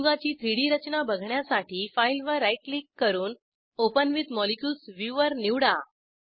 संयुगाची 3डी रचना बघण्यासाठी फाईलवर राईट क्लिक करून ओपन विथ मॉलिक्युल्स व्ह्यूवर निवडा